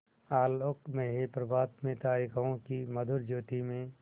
आलोकमय प्रभात में तारिकाओं की मधुर ज्योति में